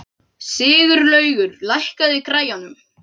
Sigurlaugur, lækkaðu í græjunum.